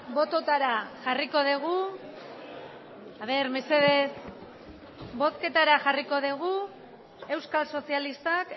botoetara jarriko dugu euskal sozialistak